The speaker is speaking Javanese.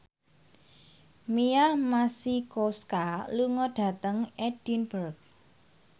Mia Masikowska lunga dhateng Edinburgh